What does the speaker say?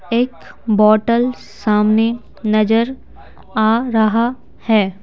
एक बोतल सामने नजर आ रहा है।